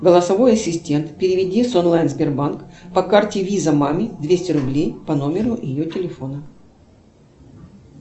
голосовой ассистент переведи с онлайн сбербанк по карте виза маме двести рублей по номеру ее телефона